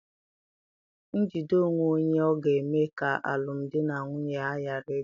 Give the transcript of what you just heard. Njide onwe onye ọ̀ ga-eme ka alụmdi na nwunye m ghara ịdị?